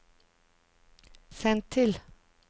send til